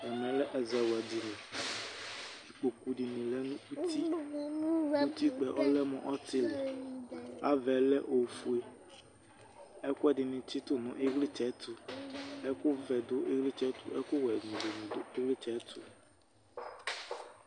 Ɛmɛ lɛ ɛzawla dini Ikpoku dɩnɩ lɛ nʋ uti Utikpǝ yɛ lɛ mʋ ɔtɩlɩ Ava yɛ lɛ ofue Ɛkʋ ɛdɩnɩ tsitu nʋ ɩɣlɩtsɛ yɛ ɛtʋ Ɛkʋvɛ nʋ ɛkʋwɛ dɩnɩ du ɩɣlɩtsɛ yɛ ɛtʋ